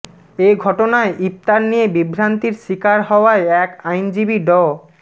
এ ঘটনায় ইফতার নিয়ে বিভ্রান্তির শিকার হওয়ায় এক আইনজীবী ড